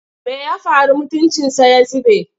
Me ya faru mutuncinsa ya zube?